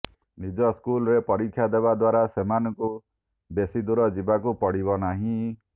ନିଜ ସ୍କୁଲରେ ପରୀକ୍ଷା ଦେବା ଦ୍ୱାରା ସେମାନଙ୍କୁ ବେଶୀ ଦୂର ଯିବାକୁ ପଡିବ ନାହିଁ